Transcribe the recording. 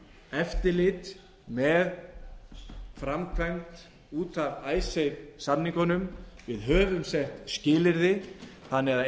eftirlit með framkvæmd út af icesave samningunum við höfum sett skilyrði þannig að